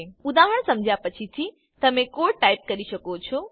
ઉદાહરણ સમજ્યા પછીથી તમે કોડ ટાઈપ કરી શકો છો